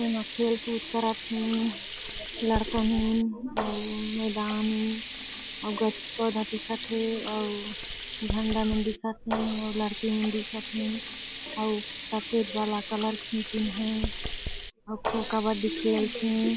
इहा खेल कूद करत हे लड़का मन अउ मैदान ए अउ गछ पौधा दिखत हे अउ झंडा मन दिखत हे अउ लड़की मन दिखत हें अउ सफ़ेद वाला कलर खिचिंन हे अउ खो कबड्डी खेलथे ।